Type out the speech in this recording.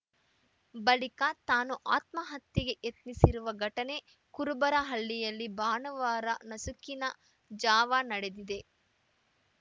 ಬಳಿಕ ತಾನೂ ಆತ್ಮಹತ್ಯೆಗೆ ಯತ್ನಿಸಿರುವ ಘಟನೆ ಕುರುಬರ ಹಳ್ಳಿಯಲ್ಲಿ ಭಾನುವಾರ ನಸುಕಿನ ಜಾವ ನಡೆದಿದೆ